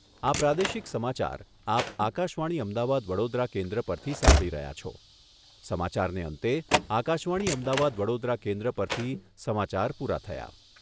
આ પ્રાદેશિક સમાચાર આપ આકાશવાણી અમદાવાદ વડોદરા કેન્દ્ર પરથી સાંભળી રહ્યા છો સમાચારને અંતે આકાશવાણી અમદાવાદ વડોદરા કેન્દ્ર પરથી સમાચાર પૂરા થયા.